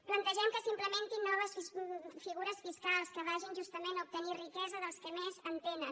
plantegem que s’implementin noves figures fiscals que vagin justament a obtenir riquesa dels que més en tenen